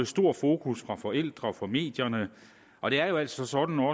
stor fokus fra forældre og medierne og det er jo altså sådan